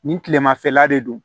Nin kilemafɛla de don